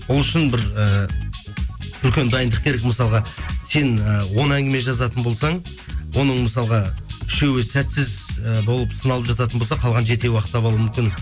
ол үшін бір і үлкен дайындық керек мысалға сен і он әңгіме жазатын болсаң оның мысалға үшеуі сәтсіз і болып саналып жататын болса қалған жетеуі ақтап алуы мүмкін